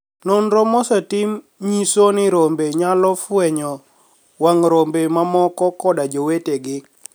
noniro mosetim niyiso nii rombe niyalo fweniyo wanig' rombe mamoko koda jowetegi.